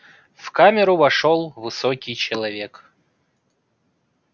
в камеру вошёл высокий человек